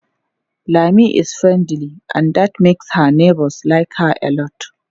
Lami is friendly and that makes her neighbors like her alot.